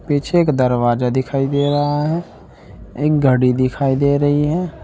पीछे एक दरवाजा दिखाई दे रहा है एक घड़ी दिखाई दे रही है।